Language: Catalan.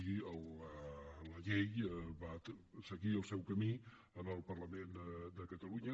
i la llei va seguir el seu camí en el parlament de catalunya